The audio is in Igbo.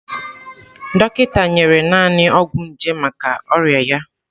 Dọkịta nyere naanị ọgwụ nje maka ọrịa ya.